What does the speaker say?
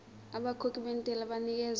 abakhokhi bentela banikezwa